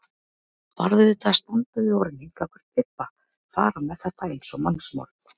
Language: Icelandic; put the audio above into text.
Varð auðvitað að standa við orð mín gagnvart Bibba, fara með þetta eins og mannsmorð.